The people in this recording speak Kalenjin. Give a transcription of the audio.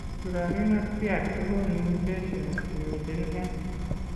Currarino triad kogonu mutations chemiten en